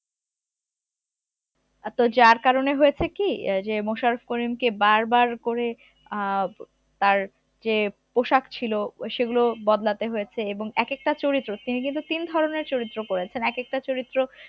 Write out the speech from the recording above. আর তো যার কারনে হয়েছে কি, আহ যে মোশারফ করিমকে বারবার করে আহ তার যে পোশাক ছিল সেগুলো বদলাতে হয়েছে এবং এক একটা চরিত্র তিনি কিন্তু তিন ধরনের চরিত্র করেছেন এক একটা চরিত্র